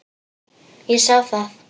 Ég sá það.